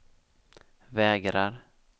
vägrar